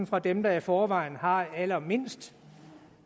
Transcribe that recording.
fra dem der i forvejen har allermindst